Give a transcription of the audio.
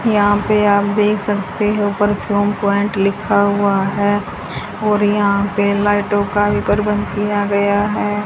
यहां पे आप देख सकते हैं ऊपर प्वाइंट लिखा हुआ है और यहां पे लाइटों का भी प्रबंध किया गया है।